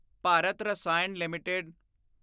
Bharat Rasayan LTD